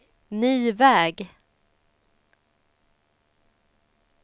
ny väg